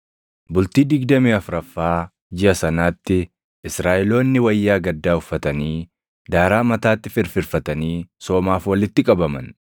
Bultii digdamii afuraffaa jiʼa sanaatti Israaʼeloonni wayyaa gaddaa uffatanii, daaraa mataatti firfirfatanii soomaaf walitti qabaman.